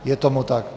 Je tomu tak.